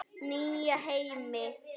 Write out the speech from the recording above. Nýja heimi?